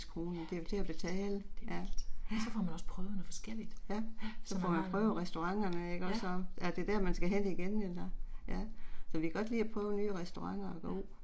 ja det er vildt, det er vildt. Så får man også prøvet noget forskelligt. Ja Som er meget, ja. Ja